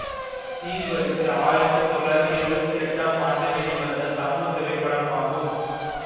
சீர்வரிசை ஆயிரத்தி தொள்ளாயிரத்தி எழுவத்தி எட்டாம் ஆண்டு வெளிவந்த தமிழ் திரைப்படமாகும்